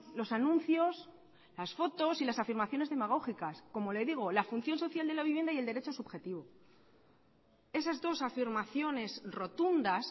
los anuncios las fotos y las afirmaciones demagógicas como le digo la función social de la vivienda y el derecho subjetivo esas dos afirmaciones rotundas